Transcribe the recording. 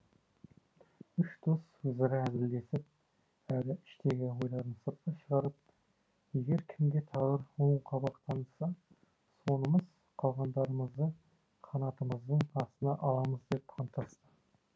үш дос өзара әзілдесіп әрі іштегі ойларын сыртқа шығарып егер кімге тағдыр оң қабақ танытса сонымыз қалғандарымызды қанатымыздың астына аламыз деп анттасты